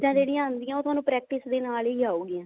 ਚੀਜ਼ਾਂ ਜਿਹੜੀਆਂ ਆਉਂਦੀਆਂ ਉਹ ਤੁਹਾਨੂੰ practice ਦੇ ਨਾਲ ਹੀ ਆਉਗੀ